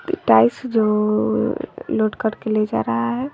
Tiles जो load करके ले जा रहा है।